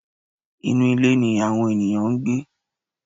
Inú ilé ni àwọn ènìyàn ń gbé.